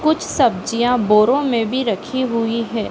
कुछ सब्जियां बोरों में भी रखी हुई हैं।